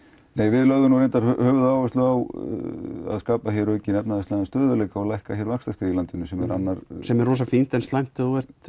við lögðum höfuðáherslu á að skapa aukinn efnahagslegan stöðugleika og lækka vaxtastig í landinu sem sem er fínt en slæmt